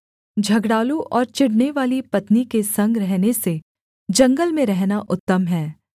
झगड़ालू और चिढ़नेवाली पत्नी के संग रहने से जंगल में रहना उत्तम है